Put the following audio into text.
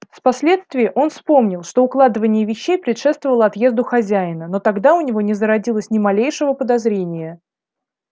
впоследствии он вспомнил что укладывание вещей предшествовало отъезду хозяина но тогда у него не зародилось ни малейшего подозрения